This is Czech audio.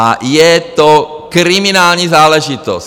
A je to kriminální záležitost.